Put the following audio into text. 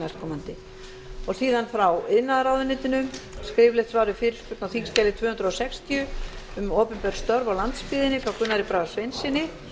næstkomandi síðan frá iðnaðarráðuneytinu skriflegt svar við fyrirspurn á þingskjali tvö hundruð sextíu um opinber störf á landsbyggðinni frá gunnari braga sveinssyni